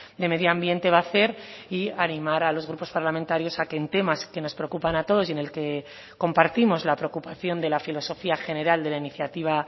de medio ambiente va a hacer y animar a los grupos parlamentarios a que en temas que nos preocupan a todos y en el que compartimos la preocupación de la filosofía general de la iniciativa